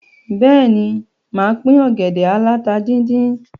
Bẹ́ẹ̀ ni, máa pín ògẹ̀dè aláta díndín.